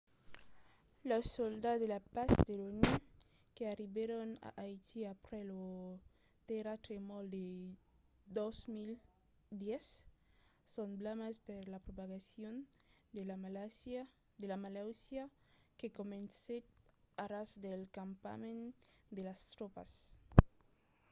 los soldats de la patz de l’onu que arribèron a haiti aprèp lo terratremol de 2010 son blasmats per la propagacion de la malautiá que comencèt a ras del campament de las tropas